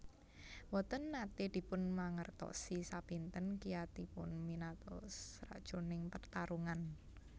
Mboten nate dipun mangertosi sepinten kiyatipun Minato sajroning pertarungan